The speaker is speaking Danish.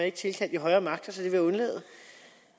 ikke tilkalde de højere magter så det vil